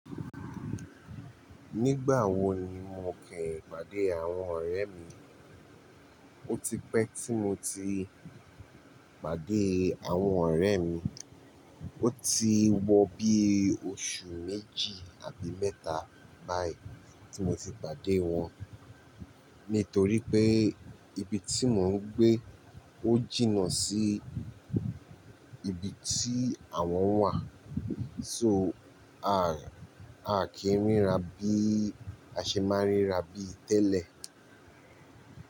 Nígbà wo ni mo kìí pàdé àwọn ọ̀rẹ́ mi, ó ti pẹ́ tí mo ti pàdé àwọn ọ̀rẹ́ mi. Ó ti wọ bí oṣù méjì àbí mẹ́ta báyìí tí mo ti pàdé wọn, nítorí pé ibi tí mò ń gbé ó jìnnà sí ibi tí àwọn wà. So, a a kìí ríra bí a ṣe máa ń ríra bí tẹ́lẹ̀.